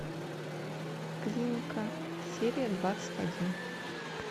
клиника серия двадцать один